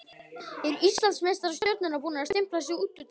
Eru Íslandsmeistarar Stjörnunnar búnir að stimpla sig út úr titilvörninni?